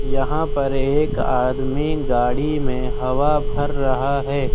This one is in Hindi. यहां पर एक आदमी गाड़ी में हवा भर रहा है।